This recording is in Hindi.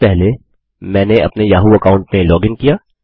सबसे पहले मैंने अपने याहू अकाउंट में लॉगिन किया